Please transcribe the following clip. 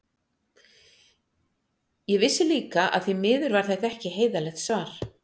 Ég vissi líka að því miður var þetta ekki heiðarlegt svar.